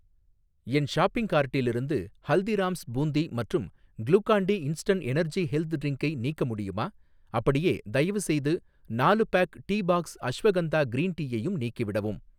என் shopping கார்ட்டிலிருந்து ஹல்திராம்ஸ் பூந்தி மற்றும் Glucon D instant energy health ட்ரிங்கை நீக்க முடியுமா?, அப்படியே, தயவுசெய்து நாலு pack tea box ashwagandha green டீயையும் நீக்கிவிடவும்.